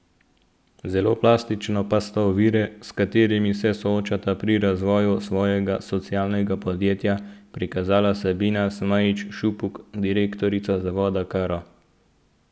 Zelo plastično pa sta ovire, s katerimi se soočata pri razvoju svojega socialnega podjetja, prikazala Sabina Smajić Šupuk, direktorica Zavoda Karo.